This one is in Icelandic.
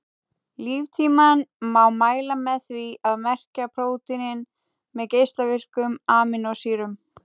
Líftímann má mæla með því að merkja prótínin með geislavirkum amínósýrum.